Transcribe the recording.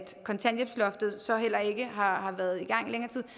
kontanthjælpsloftet så heller ikke har har været i gang